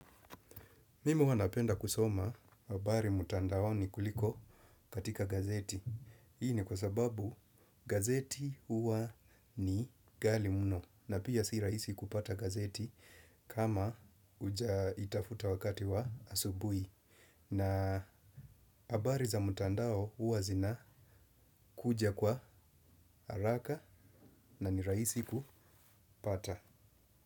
Mimu huwa napenda kusoma habari mtandani kuliko katika gazeti. Hii ni kwa sababu gazeti huwa ni ghali muno na pia si rahisi kupata gazeti kama huja itafuta wakati wa asubuhi. Na habari za mtandao huwa zina kuja kwa haraka na ni rahisi kupata.